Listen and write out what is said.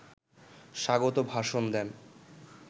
স্বাগত ভাষণ দেন